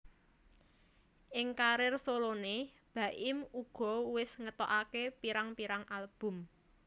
Ing karir soloné Baim uga wis ngetokaké pirang pirang album